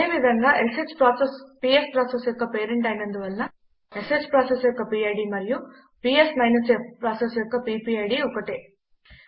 అదేవిధంగా ష్ process PS process యొక్క పేరెంట్ అయినందువలన ష్ ప్రాసెస్ యొక్క పిడ్ మరియు పిఎస్ -f ప్రాసెస్ యొక్క పీపీఐడీ ఒకటే